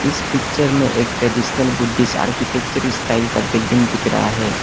इस पिक्चर में एक ट्रेडिशनल बुद्धिस्ट आर्किटेक्चर स्टाइल का बिल्डिंग दिख रहा है।